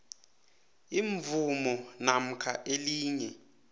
imvumo namkha elinye